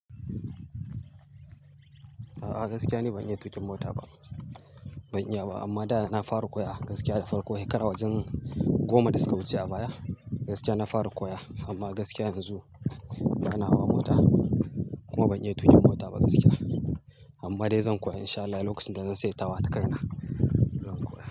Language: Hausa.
A'a gaskiya ni ban iya tuƙin mota ba, ban iya ba. Amma da na fara koya gaskiya da farko. Shekara wajen goma da suka wuce a baya gaskiya na fara koya amma gaskiya yanzu bana hawa mota kuma ban iya tuƙin mota ba gaskiya. Amma dai zan koya in sha Allah, lokacin da zan sayi tawada kaina zan koya.